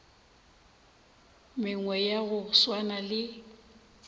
mengwe ya go swana le